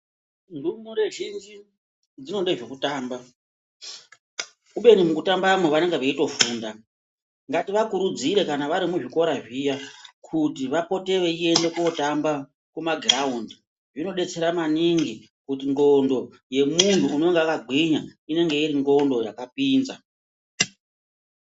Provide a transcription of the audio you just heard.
Ndumure zhinji dzinode zvekutamba kubeni mukutambamwo vanenge veitofunda. Ngativakurudzire kana vari muzvikora zviya kuti vapote veinde kootamba mumagiraundi. Zvinodetera maningi ngekuti ndxondo yemunhu anenge akagwinya inenge iri ndxondo yakapinza.